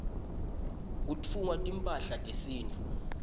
kutfungwa timphahla tesintfu